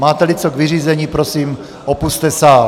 Máte-li co k vyřízení, prosím, opusťte sál.